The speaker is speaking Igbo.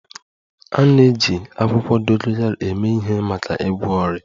A na-eji akwụkwọ dogoyaro eme ihe maka ịgwọ ọrịa